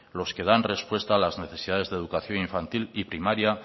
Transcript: los que dan respuesta a las necesidades de educación infantil y primaria